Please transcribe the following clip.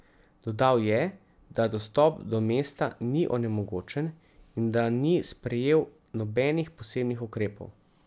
Dodal je, da dostop do mesta ni onemogočen in da ni sprejel nobenih posebnih ukrepov.